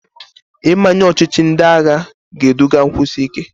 Ịmanye ọchịchị ndị agha ga-eduga nkwụsi ike.